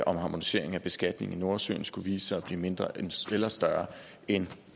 om harmonisering af beskatningen i nordsøen skulle vise sig at blive mindre eller større end